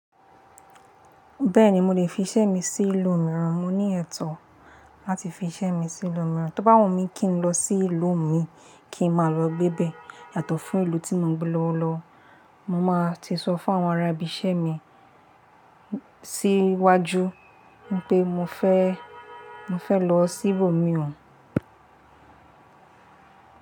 Bẹ́ẹ̀ni, mo lè fi iṣẹ́ mi sí ìlú mìíràn, mo ní ẹ̀tọ́ láti fi iṣẹ́ mi sí ìlú mìíràn. Tó bá wù mí kí n lọ sí ìlú mi, kí n máa lọ gbébè yàtọ̀ fún ìlú tí mo ń gbé lọ́wọ́lọ́wọ́, mo máa ti sọ fún àwọn arábì se mi síwájú wípé mo fẹ́, mo fẹ́ lọ sí ibòmíràn.